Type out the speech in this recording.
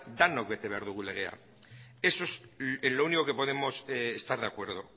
denok bete behar dugu legea eso es lo único que podemos estar de acuerdo